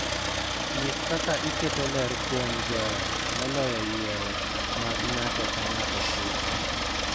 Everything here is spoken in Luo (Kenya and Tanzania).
Nyis kaka iketo ler kuom joot moloyo yiero ma ng�ato ka ng�ato timo.